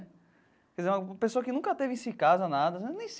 Uma pessoa que nunca teve isso em casa e nada.